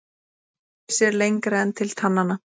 Enginn sér lengra en til tannanna.